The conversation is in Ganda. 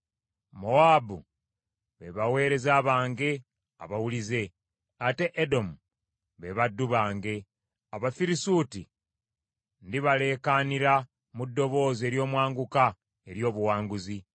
Mowaabu be baweereza bange abawulize; ate Edomu be baddu bange; Abafirisuuti ndibaleekaanira mu ddoboozi ery’omwanguka ery’obuwanguzi.”